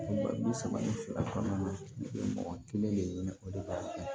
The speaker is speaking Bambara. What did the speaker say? Wa bi saba ni fila kɔnɔna na u bɛ mɔgɔ kelen de ɲini o de b'a kɛ